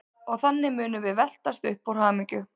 Og þannig munum við veltast um úr hamingju.